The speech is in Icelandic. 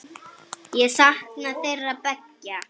Ég sakna þeirra beggja.